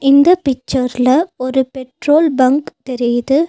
இந்த பிச்சர்ல ஒரு பெட்ரோல் பங்க் தெரியுது.